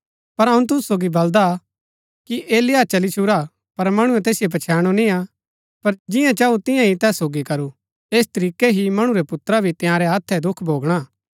पर अऊँ तुसु सोगी बलदा कि एलिय्याह चली छुरा पर मणुऐ तैसिओ पछैणु निय्आ पर जिंआ चांऊ तियां ही तैस सोगी करू ऐस तरीकै ही मणु रै पुत्रा भी तंयारै हत्थै दुख भोगणा